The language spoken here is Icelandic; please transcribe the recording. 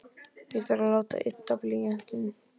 Ég þarf að láta ydda blýantinn.